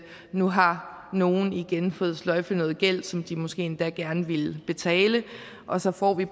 nu har nogle igen fået sløjfet noget gæld som de måske endda gerne ville betale og så får vi